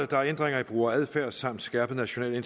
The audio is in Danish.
der er ændringer i brugeradfærd samt skærpet national